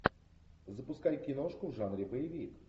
запускай киношку в жанре боевик